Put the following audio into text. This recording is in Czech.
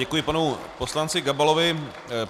Děkuji panu poslanci Gabalovi.